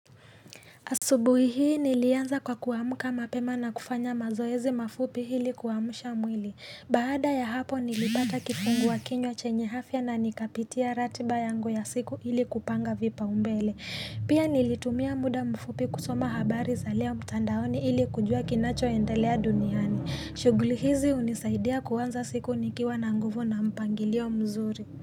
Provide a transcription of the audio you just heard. Asubuhi hii nilianza kwa kuamka mapema na kufanya mazoezi mafupi ili kuamusha mwili. Baada ya hapo nilipata kifungua kinywa chenye afya na nikapitia ratiba yangu ya siku ili kupanga vipaumbele. Pia nilitumia muda mfupi kusoma habari za leo mtandaoni ili kujua kinachoendelea duniani. Shughuli hizi hunisaidia kuanza siku nikiwa na nguvu na mpangilio mzuri.